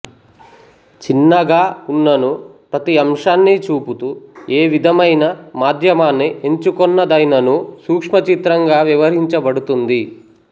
చిన్నగా ఉన్ననూ ప్రతి అంశాన్ని చూపుతూ ఏ విధమైన మాధ్యమాన్ని ఎంచుకొన్నదైననూ సూక్ష్మచిత్రం గా వ్యవహరించబడుతుంది